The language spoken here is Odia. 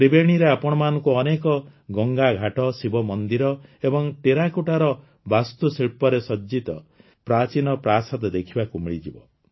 ତ୍ରିବେଣୀରେ ଆପଣମାନଙ୍କୁ ଅନେକ ଗଙ୍ଗାଘାଟ ଶିବମନ୍ଦିର ଏବଂ ଟେରାକୋଟାର ବାସ୍ତୁଶିଳ୍ପରେ ସଜ୍ଜିତ ପ୍ରାଚୀନ ପ୍ରାସାଦ ଦେଖିବାକୁ ମିଳିଯିବ